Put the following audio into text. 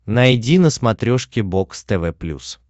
найди на смотрешке бокс тв плюс